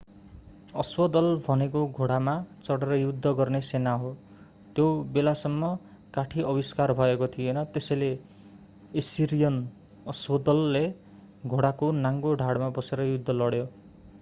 अश्वदल भनेको घोडामा चढेर युद्ध गर्ने सेना हो त्यो बेलासम्म काठी आविष्कार भएको थिएन त्यसैले एसिरियन अश्वदलले घोडाको नाङ्गो ढाडमा बसेर युद्ध लड्यो